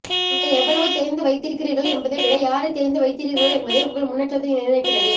நீங்கள் எவ்வளவு தெரிந்து வைத்திருக்கிறீர்கள் என்பதை விட யாரை தெரிந்து வைத்திருக்கிறீர்கள் என்பதே உங்கள் முன்னேற்றத்தை நிர்ணயக்கிறது